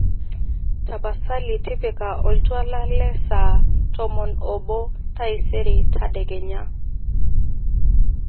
tapasali tipika oltuala le saa tomon oobo taisere tadekenya